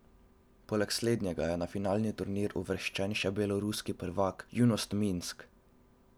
Poleg slednjega je na finalni turnir uvrščeno še beloruski prvak, Junost Minsk.